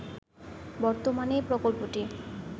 বর্তমানে প্রকল্পটি